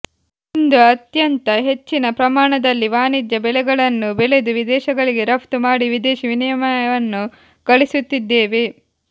ಇಂದು ಅತ್ಯಂತ ಹೆಚ್ಚಿನ ಪ್ರಮಾಣದಲ್ಲಿ ವಾಣಿಜ್ಯ ಬೆಳೆಗಳನ್ನು ಬೆಳೆದು ವಿದೇಶಗಳಿಗೆ ರಪ್ತು ಮಾಡಿ ವಿದೇಶಿ ವಿನಿಮಯವನ್ನು ಗಳಿಸುತ್ತಿದ್ದೇವೆ